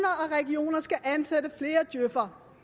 regioner skal ansætte flere djøf’ere